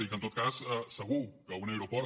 i que en tot cas segur que un aeroport